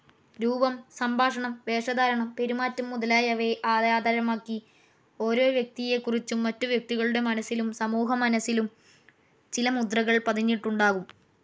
രൂപം, സംഭാഷണം, വേഷധാരണം, പെരുമാറ്റം മുതലായവയെ ആധാരമാക്കി ഓരോ വ്യക്തിയെക്കുറിച്ചും മറ്റു വ്യക്തികളുടെ മനസ്സിലും സമൂഹമനസ്സിലും ചില മുദ്രകൾ പതിഞ്ഞിട്ടുണ്ടാകും.